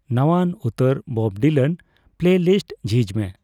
ᱱᱟᱣᱟᱱ ᱩᱛᱟᱹᱨ ᱵᱚᱵᱰᱤᱞᱟᱱ ᱯᱞᱮᱞᱤᱥᱴ ᱡᱷᱤᱡᱽ ᱢᱮ